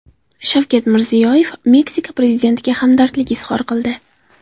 Shavkat Mirziyoyev Meksika prezidentiga hamdardlik izhor qildi.